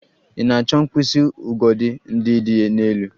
Ị na-achọ mkpịsị ugodi ndị dị n'elu?